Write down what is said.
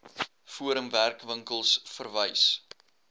forum werkwinkels verwys